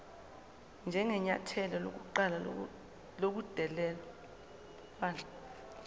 njengenyathelo lokuqala lobudelwane